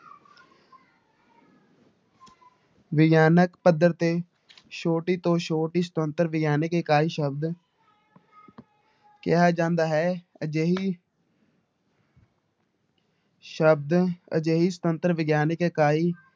ਵਿਗਿਆਨਕ ਪੱਧਰ ਤੇ ਛੋਟੀ ਤੋਂ ਛੋਟੀ ਸੁਤੰਤਰ ਵਿਗਿਆਨਕ ਇਕਾਈ ਸ਼ਬਦ ਕਿਹਾ ਜਾਂਦਾ ਹੈ ਅਜਿਹੀ ਸ਼ਬਦ ਅਜਿਹੀ ਸੁਤੰਤਰ ਵਿਗਿਆਨਕ ਇਕਾਈ